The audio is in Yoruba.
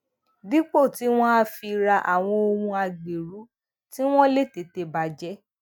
dípò tí wón á fi ra àwọn ohun agbẹrù tí wón lè tètè bà jé